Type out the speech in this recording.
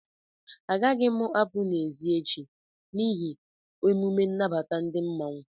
A gaghị m apụ n'èzi echi n'hi emume nnabata ndị mmanwu